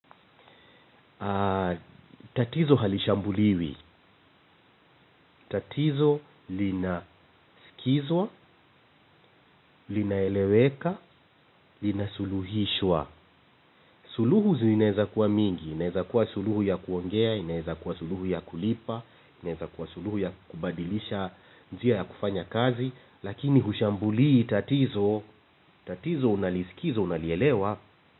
Tatizo halishambuliwi. Tatizo linasikizwa, linaeleweka, linasuluhishwa. Suluhu zinaeza kuwa mingi. Inaeza kuwa suluhu ya kuongea, inaeza kuwa suluhu ya kulipa, inaeza kuwa suluhu ya kubadilisha njia ya kufanya kazi. Lakini hushambulii tatizo, tatizo unalisikiza unalielewa.